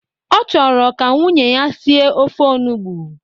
Ọ chọrọ ka nwunye ya sie ofe onugbu